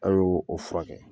An y'o o furakɛ.